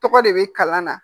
Tɔgɔ de bɛ kalan na